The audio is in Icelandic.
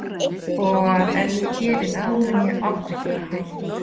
Og að ef ég geri það muni ég aldrei geta hætt.